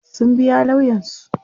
sun biya lauyansu